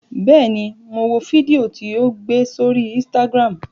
Bẹ́ẹ̀ ni, mo wo fídíò tí o gbé sórí Instagram.